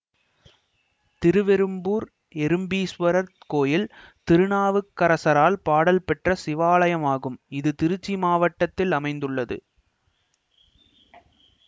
திருவெறும்பூர் எறும்பீஸ்வரர் கோயில் திருநாவுக்கரசரால் பாடல் பெற்ற சிவாலயமாகும் இது திருச்சி மாவட்டத்தில்அமைந்துள்ளது